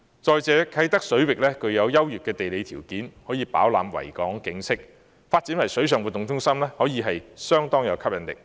再者，啟德水域具有優越的地理條件，可以飽覽維港景色；發展為水上活動中心，具有相當吸引力。